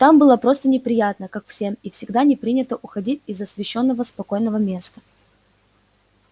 там было просто неприятно как всем и всегда не принято уходить из освещённого спокойного места